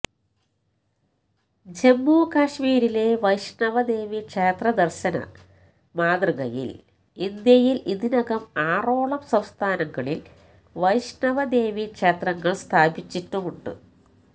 ജമ്മുകാശ്മീരിലെ വൈഷ്ണവദേവീ ക്ഷേത്രദര്ശന മാതൃകയില് ഇന്ത്യയില് ഇതിനകം ആറോളം സംസ്ഥാനങ്ങളില് വൈഷ്ണവദേവീ ക്ഷേത്രങ്ങള് സ്ഥാപിച്ചിട്ടുമുണ്ട്